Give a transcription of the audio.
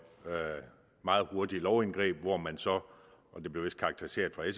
meget hurtige lovindgreb hvor man så og det blev vist karakteriseret af